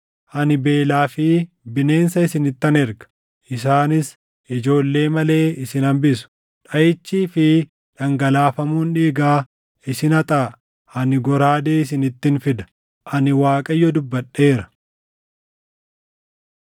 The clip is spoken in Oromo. Ani beelaa fi bineensa isinittan erga; isaanis ijoollee malee isin hambisu. Dhaʼichii fi dhangalaafamuun dhiigaa isin haxaaʼa; ani goraadee isinittin fida. Ani Waaqayyo dubbadheera.”